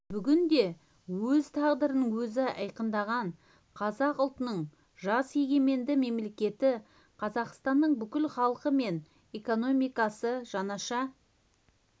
бүгінде өз тағдырын өзі айқындаған қазақ ұлтының жас егеменді мемлекеті қазақстанның бүкіл халқы мен экономикасы жаңаша